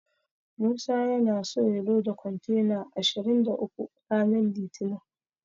Musa yana so ya loda kontena ashirin da uku ranar litinin.